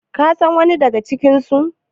kasan wani daga cikinsu?